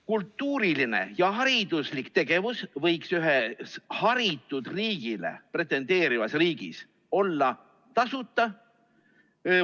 Kultuuriline ja hariduslik tegevus võiks ühes haritud riigi nimele pretendeerivas riigis olla tasuta.